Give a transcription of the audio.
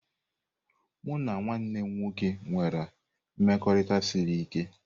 Mụ na nwanne m nwoke nwere mmekọrịta siri ike.